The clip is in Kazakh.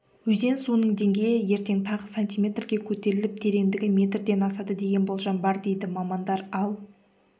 өзен суының деңгейі ертең тағы сантиметрге көтеріліп тереңдігі метрден асады деген болжам бар дейді мамандар ал